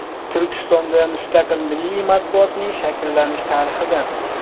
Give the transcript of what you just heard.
Turkistonda mustaqil milliy matbuotning shakllanish tarixidan.